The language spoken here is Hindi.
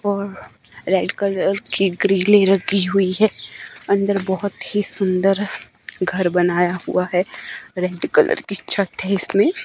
और रेड कलर की ग्रिलें रखी हुई है अंदर बहुत ही सुंदर घर बनाया हुआ है रेड कलर की छत है इसमें।